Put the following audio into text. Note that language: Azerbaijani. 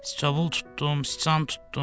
Siçovul tutdum, siçan tutdum.